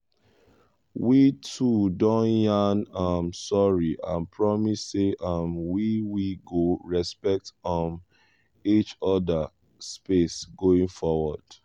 we two don yan um sorry and promise say um we we go respect um each other space going forward.